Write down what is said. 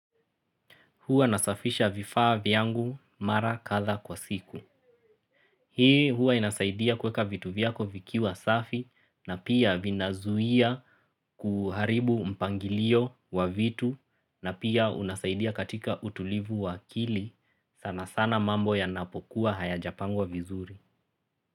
Huwa nasafisha vifaa vyangu mara kadhaa kwa siku. Hii huwa inasaidia kweka vitu viyako vikiwa safi na pia vina zuia kuharibu mpangilio wa vitu na pia unasaidia katika utulivu wa akili sana sana mambo yanapokuwa hayajapangwa vizuri.